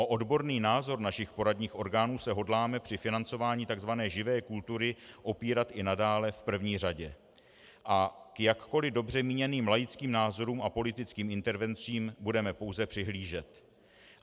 O odborný názor našich poradních orgánů se hodláme při financování tzv. živé kultury opírat i nadále v první řadě a k jakkoli dobře míněným laickým názorům a politickým intervencím budeme pouze přihlížet.